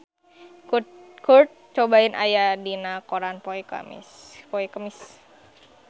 Kurt Cobain aya dina koran poe Kemis